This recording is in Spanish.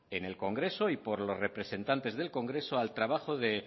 en el congreso y por los representantes del congreso al trabajo